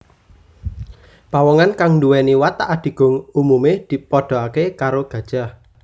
Pawongan kang nduweni watak adigung umume dipadhakake karo gajah